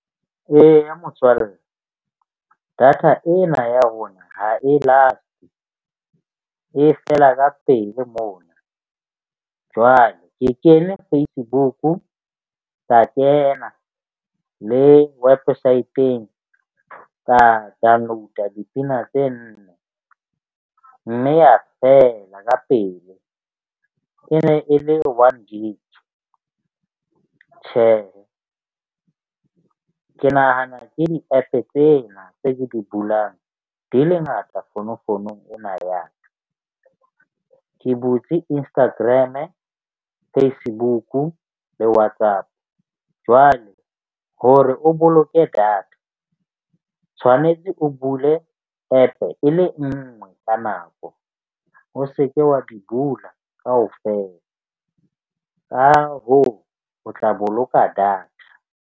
Eya, motswalle data ena ya rona e last-e e fela ka pele mona. Jwale ke kene Facebook-u ka kena le wepesaeteng ka download-a dipina tse nne mme ya fela ka pele. E ne e le one gig. Tjhe, ke nahana ke di-App-e tsena tse ke di bulang di le ngata fonofonong ena ya ka. Ke butse Instagram-e, Facebook-u le WhatsApp. Jwale hore o boloke data tshwanetse o bule App-e e le nngwe ka nako, o se ke wa di bula kaofela. Ka hoo, o tla boloka data.